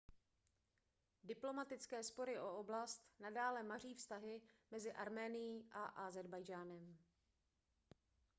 diplomatické spory o oblast nadále maří vztahy mezi arménií a ázerbajdžánem